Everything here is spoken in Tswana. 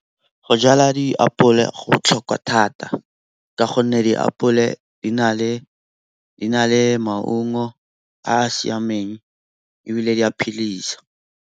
Go jala diapole go botlhokwa thata ka gonne diapole di na le maungo a a siameng ebile di a phedisa.